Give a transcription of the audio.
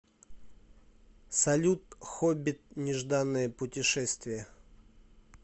салют хоббит нежданное путешествие